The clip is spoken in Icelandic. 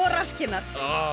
rasskinnar